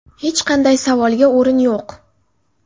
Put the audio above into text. Hech qanday savolga o‘rin yo‘q.